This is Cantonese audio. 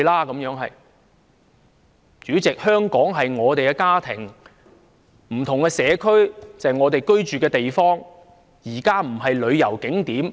代理主席，香港是我們的家，不同的社區是我們居住的地方，不是旅遊景點。